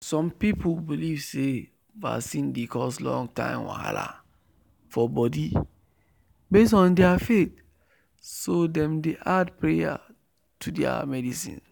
some people believe say vaccine dey cause long-term wahala for body based on their faith so dem dey add prayers to their medicine